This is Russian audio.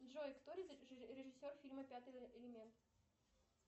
джой кто режиссер фильма пятый элемент